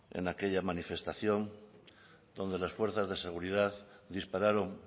en aquella manifestación donde las fuerzas de seguridad dispararon